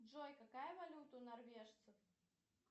джой какая валюта у норвежцев